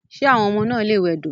Ṣé àwọn ọmọ náà lè wẹdò..